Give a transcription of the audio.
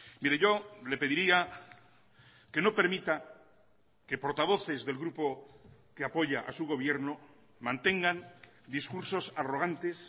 mire yo le pediría que no permita que portavoces del grupo que apoya a su gobierno mantengan discursos arrogantes